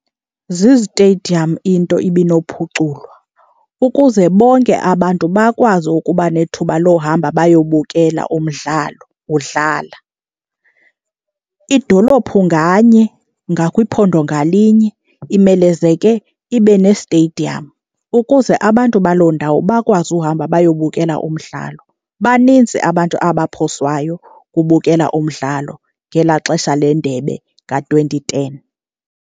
Zizitediyam into ibinophuculwa ukuze bonke abantu bakwazi ukuba nethuba lohamba bayobukela umdlalo udlala. Idolophu nganye ngakwiphondo ngalinye imelezeke ibe nesteyidiyam ukuze abantu baloo ndawo bakwazi uhamba bayobukela umdlalo. Baninzi abantu abaphoswayo kubukela umdlalo ngelaa xesha leNdebe ka-twenty ten.